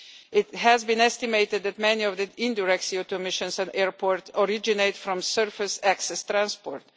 It has been estimated that many of the indirect CO2 emissions at airports originate from surface access transport.